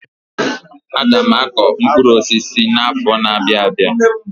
Aga m akọ mkpụrụ osisi na-afo n'abia.